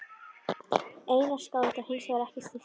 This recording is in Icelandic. Einar skáld var hinsvegar ekki stilltur